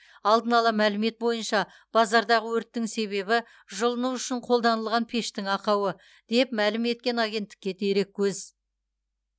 алдын ала мәлімет бойынша базардағы өрттің себебі жылыну үшін қолданылған пештің ақауы деп мәлім еткен агенттікке дереккөз